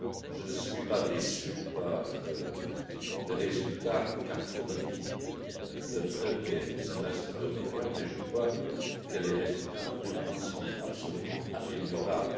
Je ne suis pas déçu par les résultats qu'a fournis le premier semestre européen, mais je crois que les résultats néanmoins sont absolument améliorables.